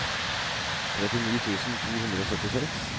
trettini tusen to hundre og syttiseks